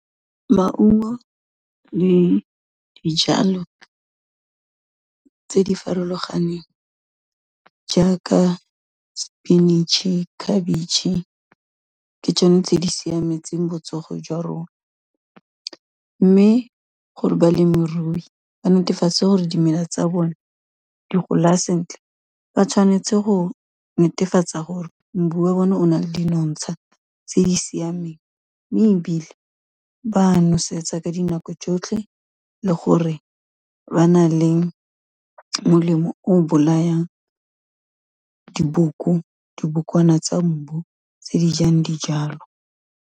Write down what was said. Maungo le dijalo tse di farologaneng jaaka sepinatšhe, khabetšhe ke tsone tse di siametseng botsogo jwa rona, mme gore balemirui ba netefatse gore dimela tsa bone di gola sentle, ba tshwanetse go netefatsa gore mbu wa bone o na le di nonotsha tse di siameng, mme ebile ba nosetsa ka dinako tsotlhe le gore ba na le molemo o bolayang diboko, dibokwana tsa mbu tse di jang dijalo.